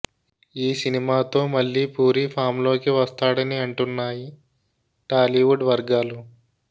ఈ సినిమా తో మళ్ళీ పూరి ఫామ్లోకి వస్తాడని అంటున్నాయి టాలీవుడ్ వర్గాలు